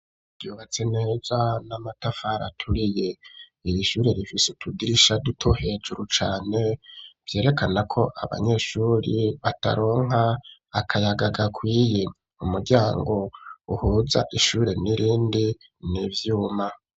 Vyubatse neza n'amatafara aturiye, iri ishure rifise tudrisha duto, hejuru cane vyerekana ko abanyeshuri bataronka akayaga gakwiye, umuryango uhuza ishure n'irindi nivyuma.